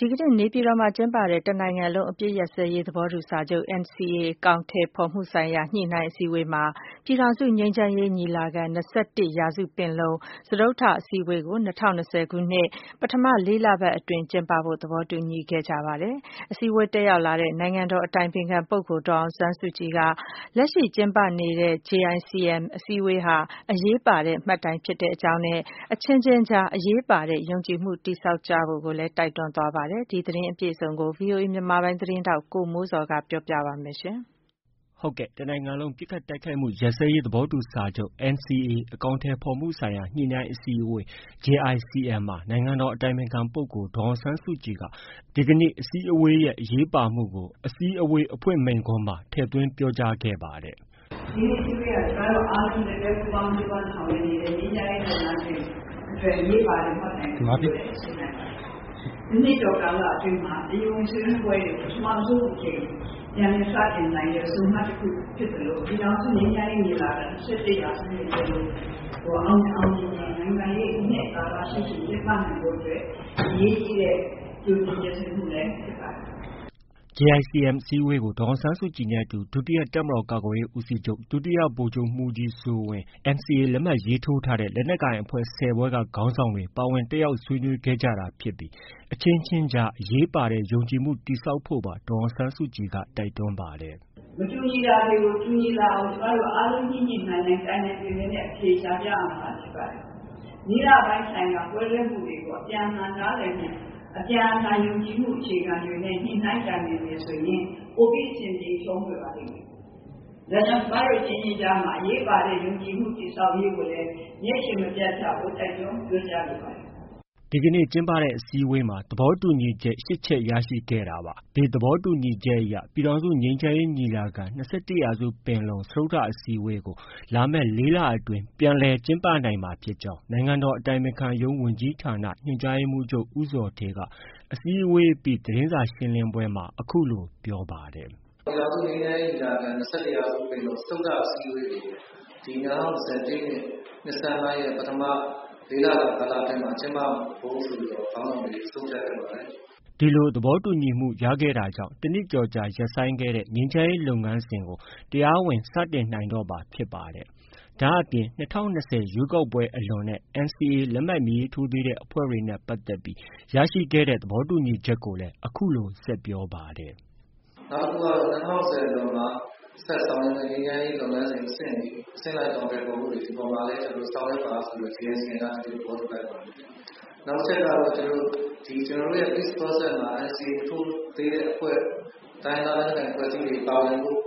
ဒီကနေ့ နေပြည်တော်မှာကျင်းပတဲ့ တစ်နိုင်ငံလုံး ပစ်ခတ်တိုက်ခိုက်မှုရပ်စဲရေး သဘောတူစာချုပ် NCA အကောင်အထည်ဖော်မှုဆိုင်ရာ ညှိနှိုင်းအစည်းအဝေးမှာ ပြည်ထောင်စု ငြိမ်းချမ်းရေး ညီလာခံ- ၂၁ရာစုပင်လုံ စတုတ္ထအစည်းအဝေးကို ၂၀၂၀ခုနှစ် ပထမ ၄လပတ်အတွင်းမှာ ကျင်းပဖို့ သဘောတူညီခဲ့ ကြပါတယ်။ အစည်းအဝေးကို တက်ရောက်လာတဲ့ နိုင်ငံတော်အတိုင်ပင်ခံပုဂ္ဂိုလ် ဒေါ်အောင်ဆန်းစုက လက်ရှိကျင်းပတဲ့ JICM အစည်းအဝေးဟာ အရေးပါတဲ့ မှတ်တိုင်ဖြစ်ကြောင်း နဲ့ အချင်းချင်းကြား အရေးပါတဲ့ ယုံကြည်မှု တည်ဆောက်ကြဖို့ပါ တိုက်တွန်းခဲ့ပါတယ်။ ဒီသတင်းအပြည့်အစုံကို ဗွီအိုအေမြန်မာပိုင်းရဲ့သတင်းထောက် ကိုမိုးဇော်က တင်ပြထားပါတယ်။ တစ်နိုင်ငံလုံး ပစ်ခတ်တိုက်ခိုက်မှုရပ်စဲရေး သဘောတူစာချုပ် NCA အကောင်အထည်ဖော်မှုဆိုင်ရာ ညှိနှိုင်းအစည်းအဝေး JICM မှာ နိုင်ငံတော်အတိုင်ပင်ခံပုဂ္ဂိုလ် ဒေါ်အောင်ဆန်းစုက အစည်းအဝေးရဲ့အရေးပါမှုကို အစည်းအဝေးအဖွင့် မိန့်ခွန်းမှာ ထည့်သွင်း ပြောကြားခဲ့ပါတယ်။ “ ဒီနေ့ အစည်းအဝေးဟာ ကျမတို့အားလုံး လက်တွဲကြိုးပမ်းဆောင်ရွက်နေတဲ့ ငြိမ်းချမ်းရေးလုပ်ငန်းစဉ်အတွက် အရေးပါတဲ့ မှတ်တိုင်တစ်ခုလို့လည်း ဆိုနိုင်ပါတယ်။ တနှစ်ကျော် ကာလအတွင်းမှာ တရားဝင်ဆွေးနွေးပွဲတွေ ပထမဦးဆုံးအကြိမ် ပြန်လည်စတင်နိုင်တဲ့ ဆုံမှတ် ဖြစ်သလို ပြည်ထောင်စု ငြိမ်းချမ်းရေးညီလာခံ ၂၁ ရာစုပင်လုံအောင်မြင်အောင် နိုင်ငံရေးအနှစ်သာရရှိရှိ ကျင်းပနိုင်ဖို့အတွက် အရေးကြီးတဲ့ ဆွေးနွေးပွဲတခုဖြစ်ပါတယ်။” JICM အစည်းအဝေးကို ဒေါ်အောင်ဆန်းစုကြည်နဲ့ အတူ ဒုတိယ တပ်မတော်ကာကွယ်ရေးဦးစီးချုပ် ဒုတိယဗိုလ်ချုပ်မှုးကြီးစိုးဝင်း၊ NCA လက်မှတ်ရေးထိုးထားတဲ့ လက်နက်ကိုင်အဖွဲ့၁၀ဖွဲ့က ခေါင်းဆောင်တွေ ပါဝင်တက်ရောက်ဆွေးနွေးခဲ့တာ ဖြစ်ပြီး အချင်းချင်းကြား အရေးပါတဲ့ ယုံကြည်မှု တည်ဆောက်ဖို့ပါ ဒေါ်အောင်ဆန်းစုကြည်က တိုက်တွန်းခဲ့ပါတယ်။ “မတူညီတာတွေကို တူညီလာအောင် ကျမတို့ အားလုံးညှိညှိနှိုင်းနှိုင်း တိုင်တိုင်ပင်ပင်နဲ့ အဖြေရှာရမှာဖြစ်ပါတယ်။ နည်းနာပိုင်းဆိုင်ရာ ကွဲလွဲမှုတွေကို အပြန်အလှန်ယုံကြည်မှု အခြေအနေနဲ့ ညှိနှိုှုင်းတိုင်ပင်မယ်ဆိုရင် ပိုပြီးအဆင်ပြေချောမွေ့ပါလိမ့်မယ်။ ဒါကြောင့် ကျမတို့ အချင်းချင်းကြားမှာ အရေးပါတဲ့ ယုံကြည်မှု တည်ဆောက်ရေးကို မျက်ခြေမပျက်ဖို့ တိုက်တွန်းပြောကြားလိုပါတယ်။” ဒီကနေ့ ကျင်းပတဲ့ အစည်းအဝေးမှာ သဘောတူညီချက် ၈ချက် ရရှိခဲ့တာပါ။ ဒီသဘောတူညီချက်အရ ပြည်ထောင်စုငြိမ်းချမ်းရေးညီလာခံ-၂၁ရာစုပင်လုံ စတုတ္ထအစည်းအဝေးကို လာမယ့် ၄လအတွင်းပြန်လည်ကျင်းပမှာဖြစ်ကြောင်းနိုင်ငံတော်အတိုင်ပင်ခံရုံးဝန်ကြီးဌာန ညွှန်ကြားရေးမှုးချုပ် ဦးဇော်ဌေးက အစည်းအဝေးအပြီး သတင်းစာရှင်းလင်းပွဲမှာ အခုလို ပြောပါတယ်။ “ပြည်ထောင်စုငြိမ်းချမ်းရေးညီလာခံ- ၂၁ရာစုပင်လုံ စတုတ္ထအစည်းအဝေးကို ဒီ ၂၀၂၀ပြည့်နှစ် ဒီနှစ်ဆန်းပိုင်းရဲ့ ပထမ ၄လအတွင်းမှာ ကျင်းပဖို့ ဆိုပြီး ခေါင်းဆောင်တွေ ဆုံးဖြတ်ခဲ့ပါတယ်။ ” ဒီလို သဘောတူညီအတွက်ရခဲ့တာကြောင့် တနှစ်ကျော်ကြာရပ်ဆိုင်းခဲ့တဲ့ ငြိမ်းချမ်းရေးလုပ်ငန်းစဉ်တွေကို တရားဝင် စတင်နိုင်တော့မှာ ဖြစ်ပါတယ်။ ဒါ့အပြင် ၂၀၂၀ ရွေးကောက်ပွဲအလွန် နဲ့ NCA လက်မှတ်မထိုးသေးတဲ့အဖွဲ့တွေ နဲ့ ပတ်သက်ပြီး ရခဲ့တဲ့သဘောတူချက်တွေ ကိုလည်း အခုလို ဆက်ပြောပါတယ်။ “နောက်တစ်ခုကတော့ ၂၀၂၀အလွန်မှာ ဆက်ဆောင်ရွက်မယ့် ငြိမ်းချမ်းရေးလုပ်ငန်းစဉ် အဆင့်တွေ၊ အဆင့်လိုက်အကောင်အထည်ဖော်မှုတွေ ဒီဟာတွေကိုလည်း ဆောင်ရွက်ပါဆိုပြီး JICM က သဘောတူလိုက်ပါတယ်။ နောက်တစ်ချက်က ကျနော်တို့ NCA Peace Process မှာ NCA မထိုးသေးတဲ့အဖွဲ့ တိုင်းရင်းသားလက်နက်ကိုင်အဖွဲ့တွေ ပါဝင်ဖို့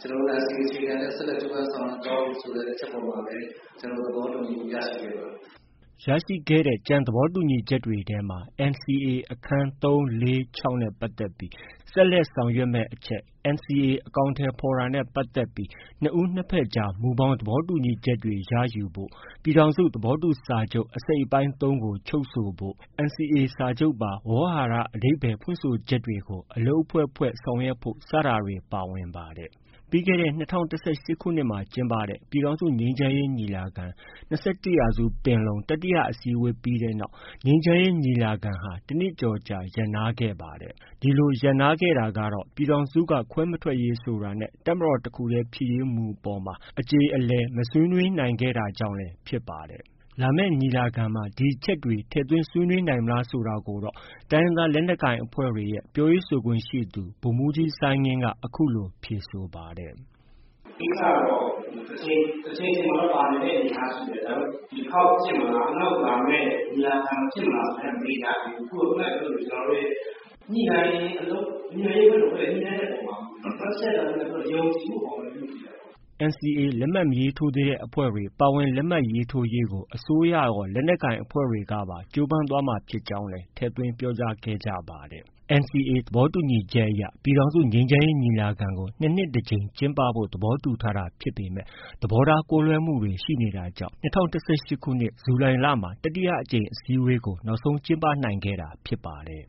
ကျနော်တို့ NCA အခြေခံနဲ့ ဆက်လက်ဆောင်ရွက်သွားဖို့ ဆိုတဲ့ အချက်အပေါ်မှာလည်း ကျနော်တို့ သဘောတူညီမှုရခဲ့ပါတယ်။” ရရှိခဲ့တဲ့ ကျန်သဘောတူညီချက်တွေထဲမှာNCA အခန်း ၃၊ ၄၊ ၆ နဲ့ပတ်သက်ပြီး ဆက်လက်ဆောင်ရွက်မယ့် အချက်၊ NCA အကောင်အထည်ဖော်တာနဲ့ပတ်သက်ပြီး နှစ်ဦးနှစ်ဘက်ကြား မူဘောင်သဘောတူညီချက်တွေ ရယူဖို့၊ ပြည်ထောင်စု သဘောတူစာချုပ် အစိတ်အပိုင်း ၃ချုပ်ဆိုဖို့၊NCA စာချုပ်ပါ ဝေါဟာရ အဓိပ္ပါယ်ဖွင့်ဆိုချက်တွေ ကို အလုပ်အဖွဲ့ဖွဲ့ ဆောင်ရွက်ဖို့ စတာတွေ ပါဝင်ပါတယ်။ ပြီးခဲ့တဲ့ ၂၀၁၈ခုနှစ်မှာ ကျင်းပတဲ့ ပြည်ထောင်စု ငြိမ်းချမ်းရေးညီလာခံ- ၂၁ရာစုပင်လုံ တတိယ အစည်းအဝေးပြီးတဲ့နောက် ငြိမ်းချမ်းရေးညီလာခံဟာ တစ်နှစ်ကျော်ကြာရပ်နားခဲ့ပါတယ်။ ဒီလို ရပ်နားခဲ့တာကတော့ ပြည်ထောင်စုက ခွဲမထွက်ရေးဆိုတာနဲ့ တပ်မတော်တစ်ခုတည်းဖြစ်ရေးမူအပေါ်မှာ အကျေအလည် မဆွေးနွေးနိုင်ခဲ့တာကြောင့်လည်း ဖြစ်ပါတယ်။ လာမယ့် ညီလာခံမှာ ဒီအချက်တွေ ထည့်သွင်းဆွေးနွေးနိုင်မလားဆိုတာကိုတော့ တိုင်းရင်းသားလက်နက်ကိုင်အဖွဲ့တွေရဲ့ ပြောရေးဆိုခွင့်ရှိသူ ဗိုလ်မှုးကြီး စိုင်းငင်းက အခုလို ဖြေဆိုပါတယ်။ “ ဒီကိစ္စကတော့ တစ်ချိန်ချိန်မှာတော့ ပါနိုင်တဲ့အနေအထားရှိတယ်။ ဒါပေမဲ့ ဒီတစ်ခေါက်ဖြစ်မလား။ ဒါမှမဟုတ် နောက်လာမယ့် ညီလာခံဖြစ်မလားဆိုတာမရေရာသေးဘူး။ ခုနကပြောသလို ကျနော်တို့ရဲ့ ညှိနှိုင်းရေးအလုပ်အဖွဲ့တွေရဲ့ ညှိနှိုင်းတဲ့အပေါ်မှာ မူတည်တယ်။ နောက်တစ်ချက်က ယုံကြည်မှုအပေါ်မှာလည်း မူတည်တယ်။” NCA လက်မှတ်မထိုးသေးတဲ့အဖွဲ့တွေ ပါဝင်လက်မှတ်ရေးထိုးရေးကို အစိုးရရော၊ လက်နက်ကိုင်အဖွဲ့တွေကပါ ကြိုးပမ်းသွားမှာဖြစ်ကြောင်းလည်း ထည့်သွင်းပြောကြားခဲ့ကြပါတယ်။ NCA သဘောတူညီချက်အရ ပြည်ထောင်စု ငြိမ်းချမ်းရေ ညီလာခံကို ၂ နှစ်တ ကြိမ် ကျင်းးပဖို့ သဘောတူထားတာ ဖြစ်ပေမယ့် သဘောထား ကွဲလွဲမှုတွေ ရှိနေတာကြောင့် ၂၀၁၈ ဇူလိုင်လမှာ တတိယ အကြိမ် အစည်းဝေးကို နောက်ဆုံးကျင်းပနိုင်ခဲ့တာ ဖြစ်ပါတယ်။